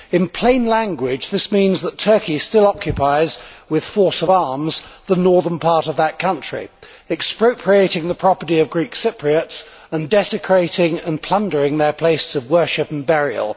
In plain language, this means that Turkey still occupies, with force of arms, the northern part of that country, expropriating the property of Greek Cypriots and desecrating and plundering their places of worship and burial.